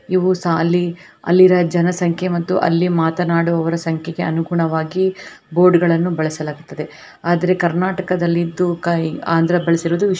ಇವು ಸಾಲಿ ಅಲ್ಲಿರ ಜನಸಂಖ್ಯೆ ಮತ್ತು ಅಲ್ಲಿ ಮಾತನಾಡುವವರು ಸಂಖ್ಯೆ ಅನುಗುಣವಾಗಿ ಬೋರ್ಡ್ಗಳನ್ನು ಬಳಸಲಾಗುತ್ತದೆ ಆದರೆ ಕರ್ನಾಟಕದಲ್ಲಿದು ಅಂದ್ರ ಬಳಿಸಿರುವುದು ವಿಶೇಷ.